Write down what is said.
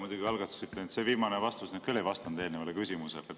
Muidugi algatuseks ütlen, et see viimane vastus küll ei vastanud eelmisele küsimusele.